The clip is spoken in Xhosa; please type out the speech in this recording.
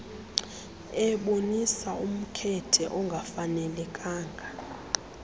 ebonisa umkhethe ongafanelekanga